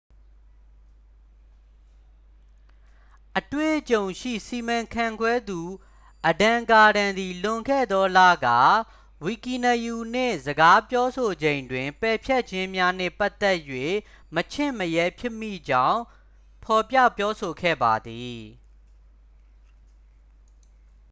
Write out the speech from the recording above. အတွေ့အကြုံရှိစီမံခန့်ခွဲသူ အဒမ် ကာဒန် သည် လွန်ခဲ့သောလက ဝီကီနရူး နှင့် စကားပြောဆိုချိန်တွင် ပယ်ဖျက်ခြင်းများနှင့်ပတ်သက်၍ မချင့်မရဲဖြစ်မိကြောင်း ဖော်ပြပြောဆိုခဲ့ပါသည်